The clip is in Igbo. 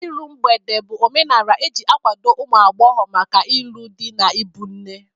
Iru mgbede bụ omenala e ji akwado ụmụ agbọghọ maka ịlụ di na ịbụ nne.